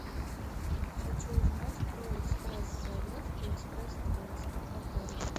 хочу узнать про экспресс заезд и экспресс выезд в отеле